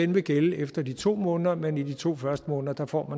vil gælde efter de to måneder men at i de to første måneder får